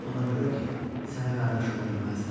Ona görə ki, sənə qardaş ola bilməzdim.